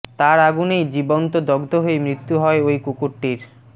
তার আগুনেই জীবন্ত দগ্ধ হয়ে মৃত্যু হয় ওই কুকুরটির